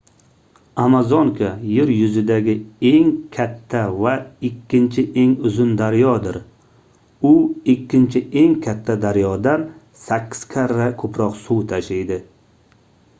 amazonka yer yuzidagi eng katta va ikkinchi eng uzun daryodir u ikkinchi eng katta daryodan 8 karra koʻproq suv tashiydi